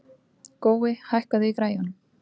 Gói, hækkaðu í græjunum.